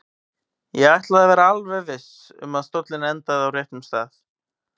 Ég ætlaði að vera alveg viss um að stóllinn endaði á réttum stað.